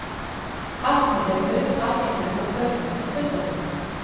Astmi er mun algengari hjá börnum en fullorðnum.